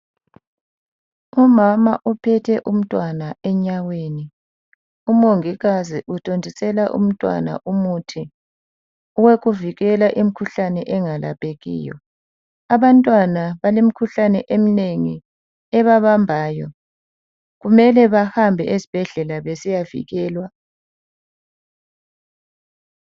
Umama uphethe umntwana enyaweni. Umongikazi uthontisela umntwana umuthi owokuvikela imkhuhlane engalaphekiyo. Abantwana balemikhuhlane eminengi ebebambayo kumele bahambe esibhedlela besiyavikelwa.